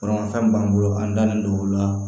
Furamafɛn b'an bolo an dalen don olu la